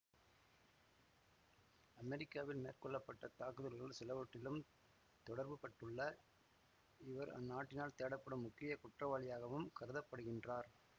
அமெரிக்காவில் மேற்கொள்ள பட்ட தாக்குதல்கள் சிலவற்றிலும் தொடர்புபட்டுள்ள இவர் அந்நாட்டினால் தேடப்படும் முக்கிய குற்றவாளியாகவும் கருத படுகின்றார்